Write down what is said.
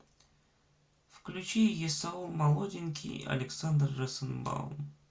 включи есаул молоденький александр розенбаум